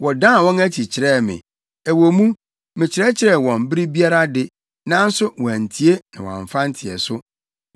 Wɔdan wɔn akyi kyerɛɛ me; ɛwɔ mu, mekyerɛkyerɛ wɔn bere biara de, nanso wɔantie na wɔamfa nteɛso.